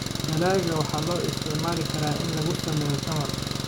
Dalagga waxaa loo isticmaali karaa in lagu sameeyo tamar.